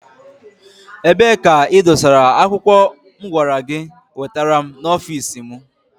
Ebee ka i dosara akwụkwọ mụ gwara gị wetere m n'ọfici mụ?